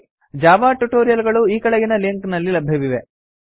Java tutorial ಗಳು ಈ ಕೆಳಗಿನ ಲಿಂಕ್ ನಲ್ಲಿ ಲಭ್ಯವಿದೆ